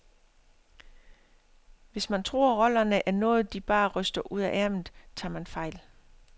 Hvis man tror, rollerne er noget de bare ryster ud af ærmet, tager man fejl.